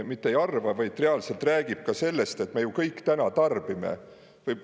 Mitte ei arva, vaid reaalselt räägib ka sellest, et me ju kõik täna tarbime.